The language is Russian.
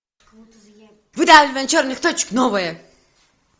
выдавливание черных точек новое